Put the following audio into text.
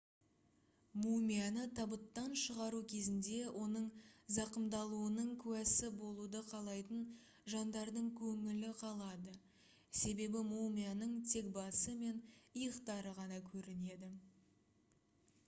мумияны табыттан шығару кезінде оның зақымдалуының куәсі болуды қалайтын жандардың көңілі қалады себебі мумияның тек басы мен иықтары ғана көрінеді